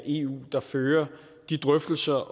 eu der fører de drøftelser